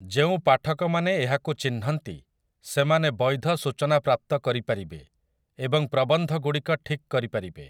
ଯେଉଁ ପାଠକମାନେ ଏହାକୁ ଚିହ୍ନନ୍ତି ସେମାନେ ବୈଧ ସୂଚନା ପ୍ରାପ୍ତ କରିପାରିବେ ଏବଂ ପ୍ରବନ୍ଧଗୁଡ଼ିକ ଠିକ୍ କରିପାରିବେ ।